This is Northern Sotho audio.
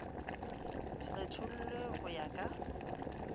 se kgethollwe go ya ka